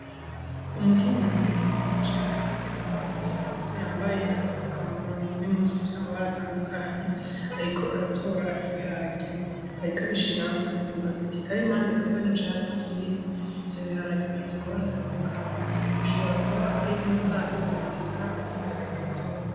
Umukenyezi yicaye hasi ku mavi, ndetse yambaye n'agafukamunwa n'impuzu zifise amabara atandukanye. Ariko aratora ibiharage. Ariko abishira mu gaseke kari impande gasa n'icatsi kibisi. Ivyo biharage bifise amabara atandukanye. Bishobora kuba ari muri bwa bwoko bita ibiharage bitoto.